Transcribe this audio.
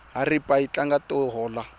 haripa yi tlanga to hola